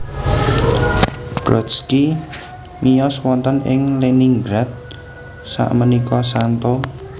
Brodsky miyos wonten ing Leningrad sakmenika St